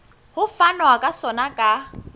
ho fanwa ka sona ka